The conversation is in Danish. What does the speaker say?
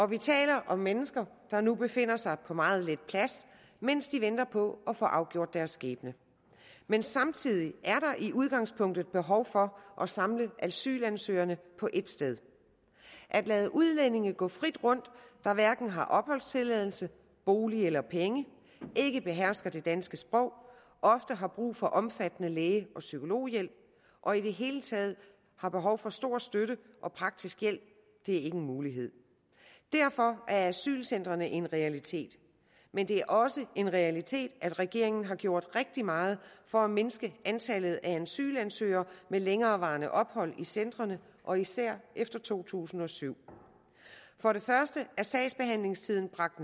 vi taler om mennesker der nu befinder sig på meget lidt plads mens de venter på at få afgjort deres skæbne men samtidig er der i udgangspunktet behov for at samle asylansøgerne på et sted at lade udlændinge gå frit rundt der hverken har opholdstilladelse bolig eller penge ikke behersker det danske sprog ofte har brug for omfattende læge og psykologhjælp og i det hele taget har behov for stor støtte og praktisk hjælp er ikke en mulighed derfor er asylcentrene en realitet men det er også en realitet at regeringen har gjort rigtig meget for at mindske antallet af asylansøgere med længerevarende ophold i centrene og især efter to tusind og syv for det første er sagsbehandlingstiden bragt